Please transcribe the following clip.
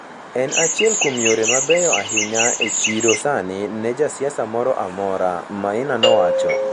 En achiel kuom yore mabeyo ahinya e chiro sani ne ja siasa moro amora,” Maina nowacho.